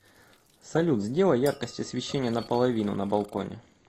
салют сделай яркость освещения на половину на балконе